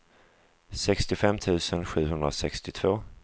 sextiofem tusen sjuhundrasextiotvå